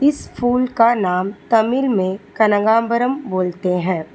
इस फूल का नाम तमिल में कनगांबरम बोलते हैं।